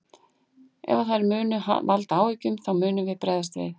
Ef að þær munu valda áhyggjum þá munum við bregðast við.